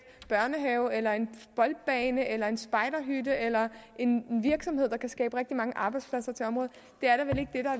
børnehave eller en boldbane eller en spejderhytte eller en virksomhed der kan skabe rigtig mange arbejdspladser til området det